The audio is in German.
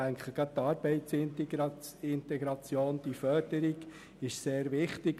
Ich denke, gerade bei der Arbeitsmarktintegration ist die Förderung sehr wichtig.